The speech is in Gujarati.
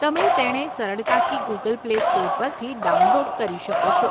તમે તેણે સરળતાથી ગૂગલ પ્લે સ્ટોર પરથી ડાઉનલોડ કરી શકો છો.